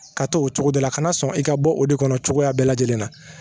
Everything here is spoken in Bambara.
Ka to o cogo de la ka na sɔn i ka bɔ o de kɔnɔ cogoya bɛɛ lajɛlen na